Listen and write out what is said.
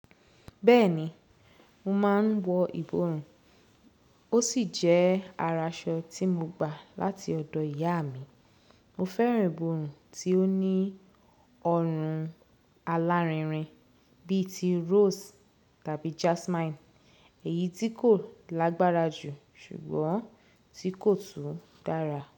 Bẹ́ẹ̀ni, mo máa ń wọ ìborùn, ó sì jẹ́ araṣọ tí mo gbà láti ọ̀dọ̀ ìyá mi. Mo fẹ́ràn ìborùn tí ó ní ọrùn alárinrin bí i ti rose tàbí jasmine, èyí tí kò lágbára jù ṣùgbọ́n tí kò tún dára.